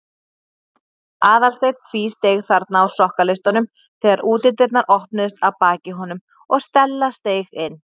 Aðalsteinn tvísteig þarna á sokkaleistunum þegar útidyrnar opnuðust að baki honum og Stella steig inn.